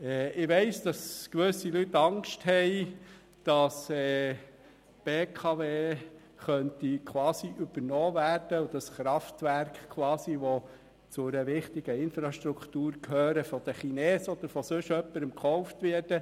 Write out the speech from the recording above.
Ich weiss, dass gewisse Leute Angst haben, die BKW könnte quasi übernommen werden und die Kraftwerke, die zu einer wichtigen Infrastruktur gehören, von den Chinesen oder sonst jemandem gekauft werden.